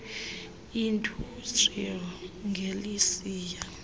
industrial age lisiya